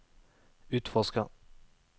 utforsker